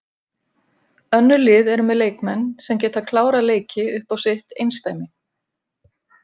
Önnur lið eru með leikmenn sem geta klárað leiki upp á sitt einsdæmi.